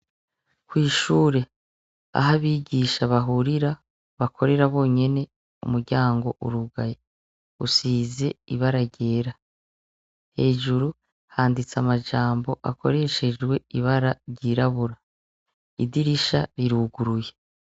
Kw'ishure aho abigisha bahurira bakorera bonyene umuryango urugaye usize ibara ryera hejuru handitse amajambo akoreshejwe ibara ryirabura idirisha riruguruye.